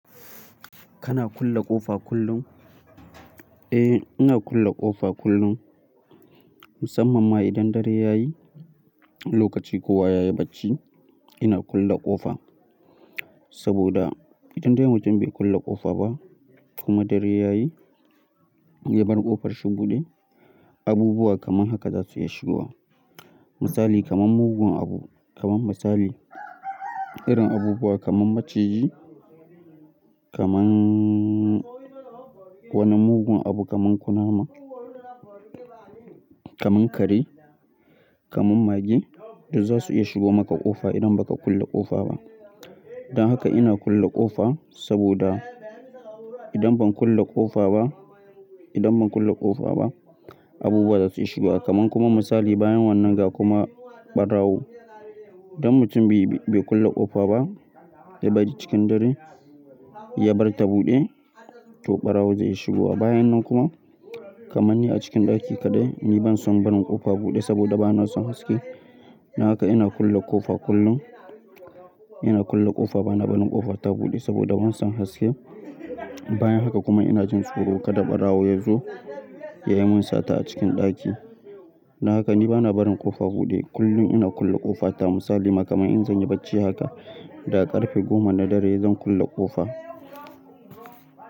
Kana kulle ƙofa kullum? Eh, ina kulle ƙofa kullum. Musamman ma idan dare yayi, lokaci kowa yayi bacci, ina kulle ƙofa. Saboda idan dai mutum bai kulle ƙofa ba kuma dare yayi, ya bar ƙofar shi buɗe, abubuwa kamar haka za su iya shigowa. Misali kamar mugun abu, kamar misali, irin abubuwa kamar maciji, kamannn wani mugun abu kamar kunama, kamar kare, kamar mage duk za su iya shigowa maka ƙofa idan baka kulle ƙofa ba. Don haka ina kulle ƙofa saboda idan ban kulle ƙofa ba, idan ban kulle ƙofa ba, abubuwa za su iya shiga kamar kuma misali bayan wannan ga kuma ɓarawo. Idan mutum bai kulle ƙofa ba da baɗi cikin dare, ya barta buɗe, to ɓarawo zai iya shigowa. Bayan nan kuma, kamar ni a cikin ɗaki kaɗai, ni ban son barin ƙofa buɗe saboda bana son haske. Don haka ina kulle ƙofa kullum. Ina kulle ƙofa bana barin ƙofa ta buɗe saboda ban son haske. Bayan haka kuma ina jin tsoro kada ɓarawo ya zo ya yi min sata a cikin ɗaki. Don haka ni bana barin ƙofa buɗe. Kullum ina kulle ƙofa ta misali, ma kaman in zanyi bacci haka, da ƙarfe goma na dare zan kulle ƙofa.